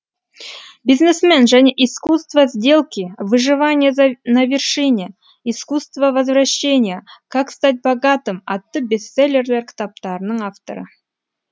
бизнесмен және исскуство сделки выживание на вершине исскуство возвращения как стать богатым атты бестселлер кітаптарының авторы